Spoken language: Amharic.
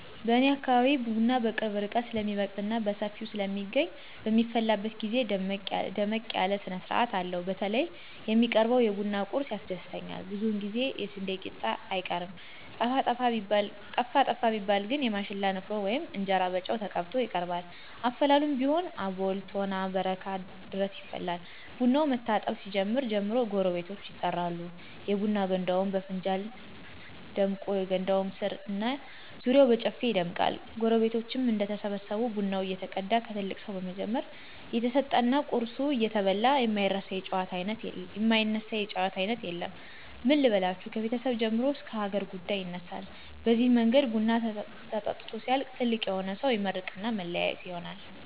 በኔ አካባቢ ቡና በቅርብ ርቀት ስለሚበቅልና በሰፊው ስለሚገኝ በሚፈላበት ግዜ ደመቅ ያለ ስነስርአት አለው። በተለይ የሚቀርበው የቡና ቁርሱ ያስደስተኛል ብዙውን ጊዜ የስንዴ ቂጣ አይቀርም። ጠፋ ጠፋ ቢባል ግን የማሽላ ንፍሮ ወይም እንጀራ በጨው ተቀብቶ ይቀርባል። አፈላሉም ቢሆን አቦል፣ ቶና፣ በረካ ድረስ ይፈላል። ቡናው መታጠብ ሲጀምር ጀምሮ ጎረቤቶች ይጠራሉ፤ የቡና ገንዳውም በፍንጃል ደምቆ የገንዳው ስር እና ዙሪያው በጨፌ ይደምቃል። ጎረቤቶች እንደተሰበሰቡ ቡናው እየተቀዳ ከትልቅ ሰው በመጀመር እየተሰጠና ቁርሱ እየተበላ የማይነሳ የጨዋታ አይነት የለም። ምን ልበላችሁ ከቤተሰብ ጀምሮ እስከ ሀገር ጉዳይ ይነሳል በዚህ መንገድ ቡናው ተጠጥቶ ሲያልቅ ትልቅ የሆነ ሰው ይመርቅና መለያየት ይሆናል።